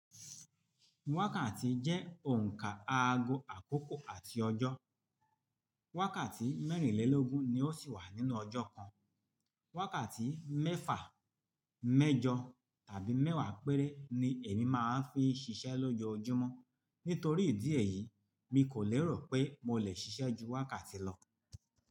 Wákàtí jẹ́ òǹkà aago àkókò àti ọjọ́. Wákàtí mẹ́rìnlélógún ni ó sì wà nínú ọjọ́ kan. Wákàtí mẹ́fà, mẹ́jọ tàbí mẹ́wàá péré ni èmi máa ń fi ṣiṣẹ́ lojoojúmọ́. Nítorí ìdí èyí, mi kò lérò pé mo le ṣiṣẹ́ ju wákàtí lọ.